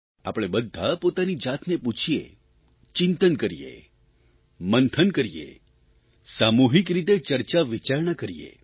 આપણે બધા પોતાની જાતને પૂછીએ ચિંતન કરીએ મંથન કરીએ સામૂહીક રીતે ચર્ચાવિચારણા કરીએ